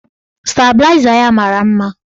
Stabịlaịza ya mara mma.